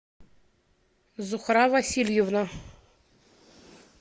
зухра васильевна